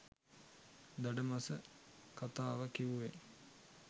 දඩ මස කතාව කිව්වේ